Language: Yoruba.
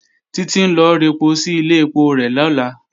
Títí ń lọ rẹpo sí ilé ẹpo rẹ̀ lọ́la